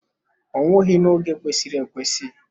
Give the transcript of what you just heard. Ọ nwụghị n'oge kwesịrị ekwesị.